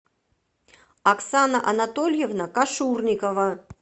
оксана анатольевна кашурникова